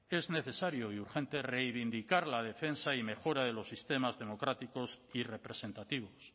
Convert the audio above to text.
es necesario y urgente reivindicar la defensa y mejora de los sistemas democráticos y representativos